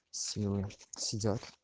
слева сидят